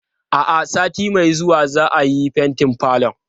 A'a, sati mai zuwa za'a yi fentin falon.